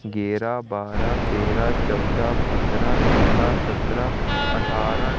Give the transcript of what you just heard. गेरा बारह तेरा चौदह पंद्रह सोलह सत्रह अठारह--